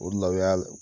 O de la o y'a